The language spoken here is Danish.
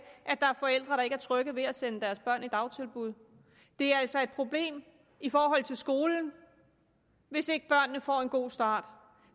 at der er forældre der ikke er trygge ved at sende deres børn i dagtilbud det er altså et problem i forhold til skolen hvis ikke børnene får en god start